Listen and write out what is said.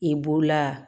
I b'o la